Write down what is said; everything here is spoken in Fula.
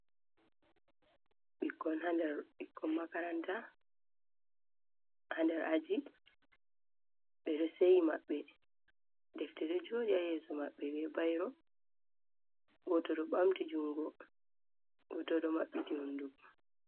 Ɓikkon haa nder, ɓikkon makaranta haa nder aji, ɓe ɗo seyi maɓɓe, defte ɗo joodi haa yeeso maɓɓe be bayro, gooto ɗo ɓamti junngo, gooto bo maɓɓiti hunnduko.